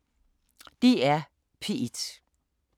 DR P1